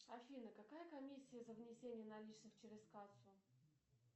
афина какая комиссия за внесение наличных через кассу